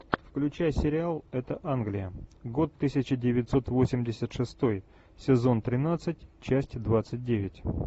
включай сериал это англия год тысяча девятьсот восемьдесят шестой сезон тринадцать часть двадцать девять